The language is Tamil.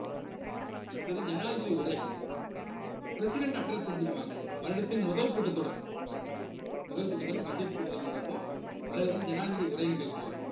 அடுத்தது ஜனாதிபதி உரை president address அப்படிம்பாங்க வருடத்தின் முதல் கூட்டத்தொடர் முதல் கூட்டத்தொடர் budget கூட்டத்தொடர் நடக்கும் அதுல வந்து ஜனாதிபதி உரை நிகழ்த்துவார்